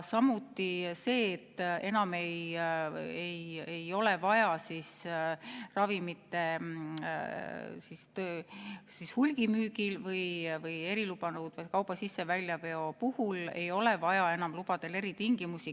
Samuti see, et enam ei ole vaja ravimite hulgimüügil või eriluba nõudva kauba sisse- või väljaveo puhul lubadele sätestada eritingimusi.